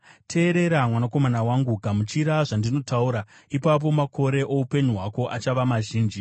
Teerera, mwanakomana wangu, gamuchira zvandinotaura, ipapo makore oupenyu hwako achava mazhinji.